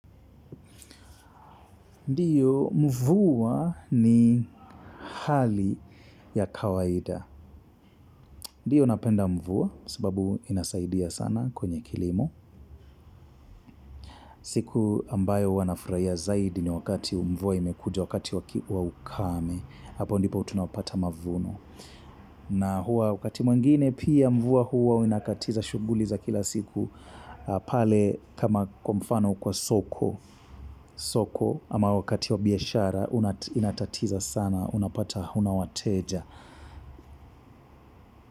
Ndio mvua ni hali ya kawaida. Ndio napenda mvua sababu inasaidia sana kwenye kilimo. Siku ambayo huwa nafurahia zaidi ni wakati mvua imekuja wakati waki wa ukame. Hapo ndipo tunapata mavuno. Na hua wakati mwengine pia mvua huwa unakatiza shughuli za kila siku. Pale kama kwa mfano kwa soko soko ama wakati wa biashara unatatiza sana unapata huna wateja.